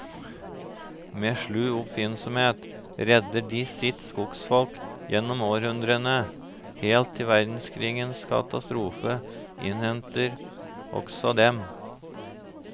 Med slu oppfinnsomhet redder de sitt skogsfolk gjennom århundrene, helt til verdenskrigens katastrofe innhenter også dem.